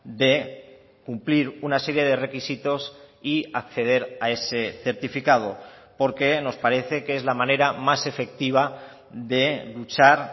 de cumplir una serie de requisitos y acceder a ese certificado porque nos parece que es la manera más efectiva de luchar